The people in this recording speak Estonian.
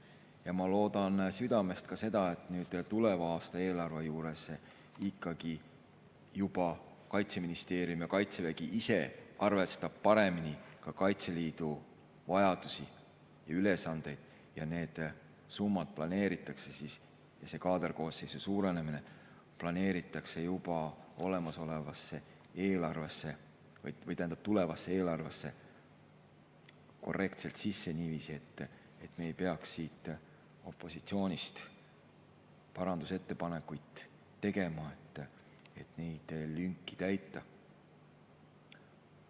Ja ma loodan südamest ka seda, et tuleva aasta eelarve juures Kaitseministeerium ja Kaitsevägi ise juba arvestavad paremini Kaitseliidu vajadusi ja ülesandeid ning summad ja kaaderkoosseisu suurenemine planeeritakse juba tulevasse eelarvesse korrektselt sisse niiviisi, et me ei peaks opositsioonist parandusettepanekuid tegema, et neid lünki täita.